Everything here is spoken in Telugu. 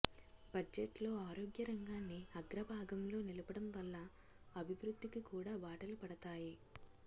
బడ్జెట్లో ఆరోగ్య రంగాన్ని అగ్రభాగంలో నిలపడం వల్ల అభివృద్ధికి కూడా బాటలు పడతాయి